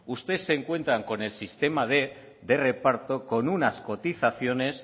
ustedes se encuentran con el sistema de reparto con unas cotizaciones